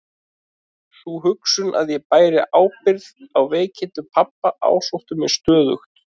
Sú hugsun að ég bæri ábyrgð á veikindum pabba ásótti mig stöðugt.